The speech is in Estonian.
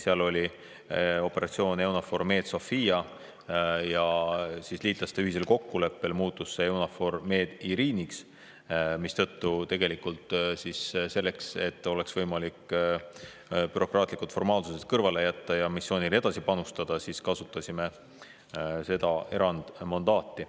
Seal oli operatsioon EUNAVFOR Med/Sophia ja liitlaste ühisel kokkuleppel muutus see EUNAVFOR Med/Iriniks, mistõttu tegelikult selleks, et oleks võimalik bürokraatlikud formaalsused kõrvale jätta ja missioonile edasi panustada, kasutasime seda erandmandaati.